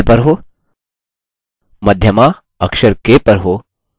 मध्यमा अक्षर k पर हो